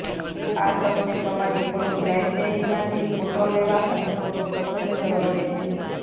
આ તમને તમારી ફોટો લાઇબ્રેરીમાંથી ફોટો લેવા અથવા ફોટો પસંદ કરવા દેશે